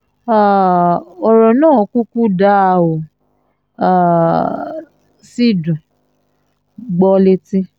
um ọ̀rọ̀ náà kúkú dáa ó um sì dùn-ún gbọ́ létí